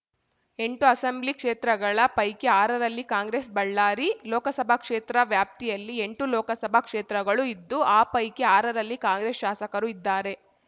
ಎಂಟು ಅಸೆಂಬ್ಲಿ ಕ್ಷೇತ್ರಗಳ ಪೈಕಿ ಆರರಲ್ಲಿ ಕಾಂಗ್ರೆಸ್‌ ಬಳ್ಳಾರಿ ಲೋಕಸಭಾ ಕ್ಷೇತ್ರ ವ್ಯಾಪ್ತಿಯಲ್ಲಿ ಎಂಟು ಲೋಕಸಭಾ ಕ್ಷೇತ್ರಗಳು ಇದ್ದು ಆ ಪೈಕಿ ಆರರಲ್ಲಿ ಕಾಂಗ್ರೆಸ್‌ ಶಾಸಕರು ಇದ್ದಾರೆ